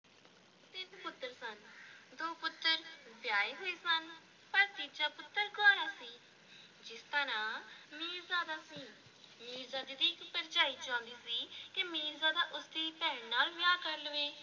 ਤਿੰਨ ਪੁੱਤਰ ਸਨ ਦੋ ਪੁੱਤਰ ਵਿਆਹੇ ਹੋਏ ਸਨ ਪਰ ਤੀਜਾ ਪੁੱਤਰ ਕੁਆਰਾ ਸੀ ਜਿਸ ਦਾ ਨਾਂ ਮੀਰਜ਼ਾਦਾ ਸੀ, ਮੀਰਜ਼ਾਦੇ ਦੀ ਇੱਕ ਭਰਜਾਈ ਚਾਹੁੰਦੀ ਸੀ ਕਿ ਮੀਰਜ਼ਾਦਾ ਉਸ ਦੀ ਭੈਣ ਨਾਲ ਵਿਆਹ ਕਰ ਲਵੇ।